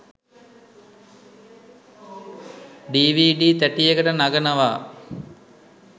DVD තැටියකට නගනවා.